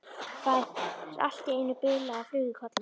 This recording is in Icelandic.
Fær allt í einu bilaða flugu í kollinn.